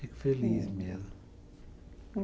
Fico feliz mesmo.